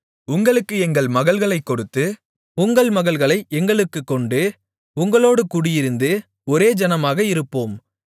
உங்களுக்கு எங்கள் மகள்களைக் கொடுத்து உங்கள் மகள்களை எங்களுக்குக் கொண்டு உங்களோடு குடியிருந்து ஒரே ஜனமாக இருப்போம்